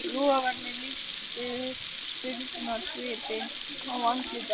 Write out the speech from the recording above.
Logarnir lýstu upp spurnarsvipinn á andlitinu á honum.